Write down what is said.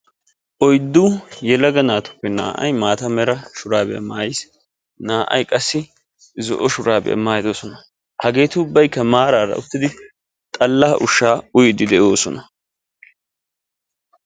Oyddu yelaga naatuppe naa"ayi maata mera shuraabiya maayis naa"ayi qassi zo"o shuraabiya maayidosona. Hageeti ubbaykka maaraara uttidi xallaa ushshaa uyiiddi de"oosona.